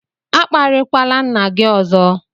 A kparịkwala nna gị ọzọ!